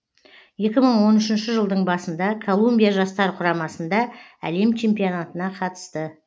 екі мың он үшінші жылдың басында колумбия жастар құрамасында әлем чемпионатына қатысты